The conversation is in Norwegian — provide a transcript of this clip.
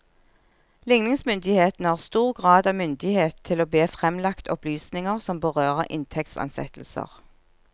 Ligningsmyndighetene har stor grad av myndighet til å be fremlagt opplysninger som berører inntektsansettelser.